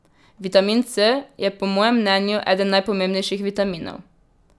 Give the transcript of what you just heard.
Vitamin C je po mojem mnenju eden najpomembnejših vitaminov.